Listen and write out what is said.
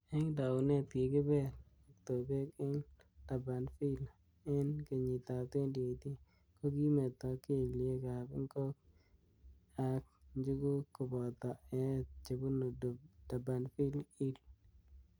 Eng taunet kikibel octopek eng Durbanvile. eng kenyit ab 2018 kokimeto keliek ab ingok ak njugug koboto eet chebunu Durbanville Hill.